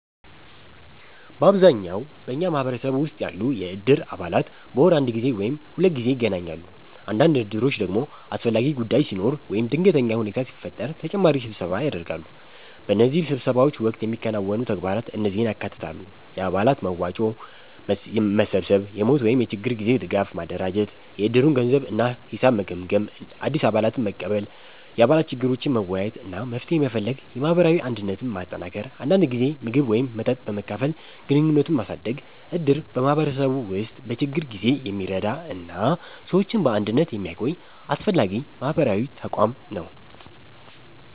በአብዛኛው በኛ ማህበረሰብ ውስጥ ያሉ የእድር አባላት በወር አንድ ጊዜ ወይም ሁለት ጊዜ ይገናኛሉ። አንዳንድ እድሮች ደግሞ አስፈላጊ ጉዳይ ሲኖር ወይም ድንገተኛ ሁኔታ ሲፈጠር ተጨማሪ ስብሰባ ያደርጋሉ። በእነዚህ ስብሰባዎች ወቅት የሚከናወኑ ተግባራት እነዚህን ያካትታሉ፦ የአባላት መዋጮ መሰብሰብ የሞት ወይም የችግር ጊዜ ድጋፍ ማደራጀት የእድሩን ገንዘብ እና ሂሳብ መገምገም አዲስ አባላትን መቀበል የአባላት ችግሮችን መወያየት እና መፍትሄ መፈለግ የማህበራዊ አንድነትን ማጠናከር አንዳንድ ጊዜ ምግብ ወይም መጠጥ በመካፈል ግንኙነትን ማሳደግ እድር በማህበረሰቡ ውስጥ በችግር ጊዜ የሚረዳ እና ሰዎችን በአንድነት የሚያቆይ አስፈላጊ ማህበራዊ ተቋም ነው።